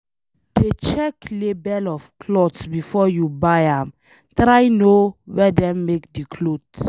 Dey check label of cloth before you buy am, try know where dem make de cloth